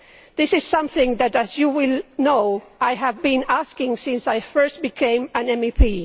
This is something that, as you will know, I have been asking for since I first became an MEP.